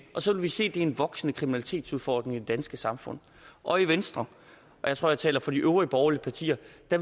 og så vil vi se at det er en voksende kriminalitetsudfordring i det danske samfund og i venstre og jeg tror jeg taler for de øvrige borgerlige partier